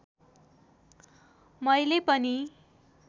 मैले पनि